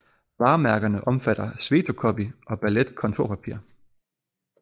Varemærkerne omfatter Svetocopy og Ballet kontorpapir